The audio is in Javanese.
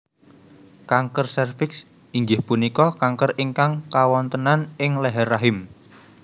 Kanker sèrviks inggih punika kanker ingkang kawontenan ing leher rahim